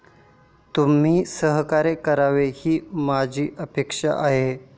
तुम्ही सहकार्य करावे ही माझी अपेक्षा आहे.